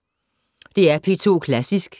DR P2 Klassisk